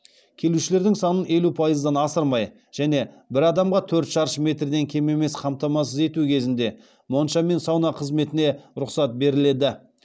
келушілердің санын елу пайыздан асырмай және бір адамға төрт шаршы метрден кем емес қамтамасыз ету кезінде монша мен сауна қызметіне рұқсат беріледі